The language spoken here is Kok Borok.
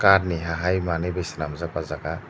kat ni hahai manui bai senamjak ojaga.